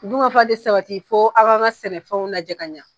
Dungafa ti sabati fo an gan ka sɛnɛfɛnw laja ɲa